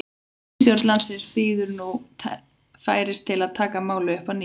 Ríkisstjórn landsins bíður nú færis til að taka málið upp að nýju.